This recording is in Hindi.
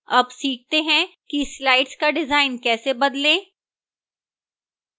अब सीखते हैं कि slides का डिजाइन कैसे बदलें